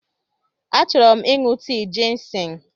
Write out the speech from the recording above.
Achọrọ m ịṅụ tii jịnsịng.